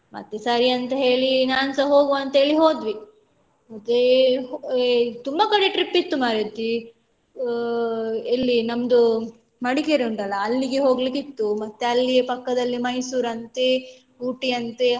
ಮತ್ತೆ ಸರಿ ಅಂತ ಹೇಳಿ ನಾನ್ಸ ಹೋಗುವ ಅಂತ ಹೇಳಿ ಹೋದ್ವಿ ಮತ್ತೇ ತುಂಬ ಕಡೆ trip ಇತ್ತು ಮಾರೈತಿ ಆ ಎಲ್ಲಿ ನಮ್ದು Madikeri ಉಂಟಲ್ಲ ಅಲ್ಲಿಗೆ ಹೋಗ್ಲಿಕಿತ್ತು ಮತ್ತೆ ಅಲ್ಲಿಯೇ ಪಕ್ಕದಲ್ಲಿ Mysore ಅಂತೆ Ooty ಅಂತೆ.